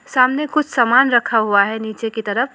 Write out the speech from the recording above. सामने कुछ सामान रखा हुआ है नीचे की तरफ।